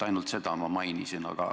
Ainult seda ma mainisin.